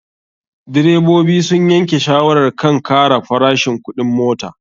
Direbobi sun yanke shawarar kan kara farashin kuɗin mota.